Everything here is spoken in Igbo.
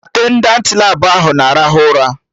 Atendantị Labụ ahụ na-arahụ ụra